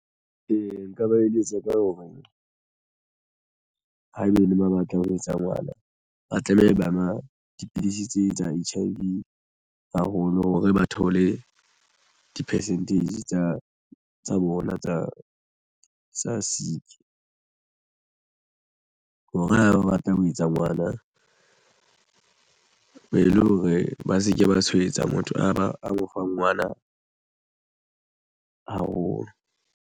Ee, nka ba eletsa ka hore haebe ba batla ho etsa ngwana ba tlameha ba nwa dipidisi tse tsa H_I_V haholo hore ba thole di-percentage tsa bona tsa sick hore ha ba batla ho etsa ngwana e le hore ba se ke ba tshwaetsa. Motho a ba a mo fa ngwana haholo.